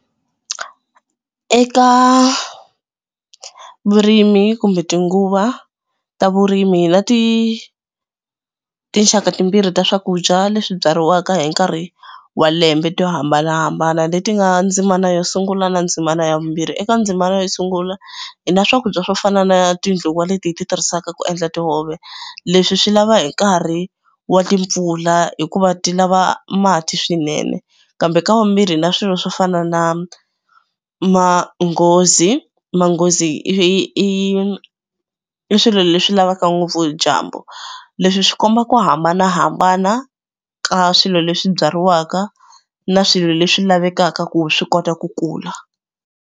Eka vurimi kumbe tinguva ta vurimi hi na ti tinxaka timbirhi ta swakudya leswi byariwaka hi nkarhi wa lembe to hambanahambana leti nga ndzimana yo sungula na ndzimana ya vumbirhi. Eka ndzimana yo sungula hi na swakudya swo fana na tindluwa leti hi ti tirhisaka ku endla tihove leswi swi lava hi nkarhi wa timpfula hikuva ti lava mati swinene. Kambe ka wavumbirhi hi na swilo swo fana na manghozi manghozi i swilo leswi lavaka ngopfu dyambu. Leswi swi komba ku hambanahambana ka swilo leswi byariwaka na swilo leswi lavekaka ku swi kota ku kula.